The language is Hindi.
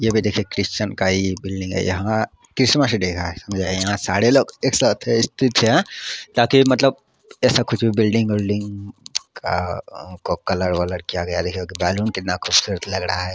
यह भी देखी क्रिस्चियन का ही बिल्डिंग हे यहाँ क्रिसमस डे हे आज सरे लोग एक साथ हे ताकि मतलब बिल्डिंग विल्डिंग को कलर वालर किया गया देखी बैलन कितना खुबसूरत लाग रहगा है।